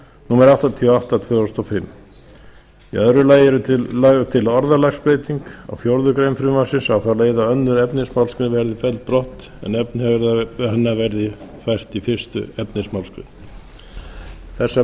númer áttatíu og átta tvö þúsund og fimm í öðru lagi er lögð til orðalagsbreyting á fjórðu grein frumvarpsins á þá leið að öðru efnismgr verði felld brott og efni hennar fært í fyrsta efnismgr þessar